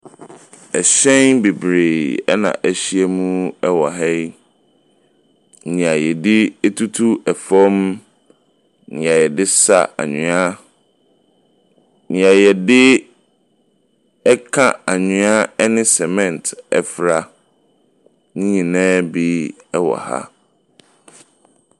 Hyɛn bebree na ahyia wɔ ha yi. Nea wɔde tutu fam no, nea yɛde sa anwea, nea yɛde ka anwea ne cement fra. Ne nyinaa bi wɔ ha.